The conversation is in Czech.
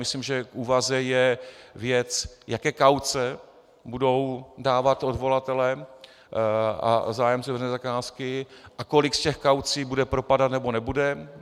Myslím, že k úvaze je věc, jaké kauce budou dávat odvolatelé a zájemci o veřejné zakázky a kolik z těch kaucí bude propadat, nebo nebude.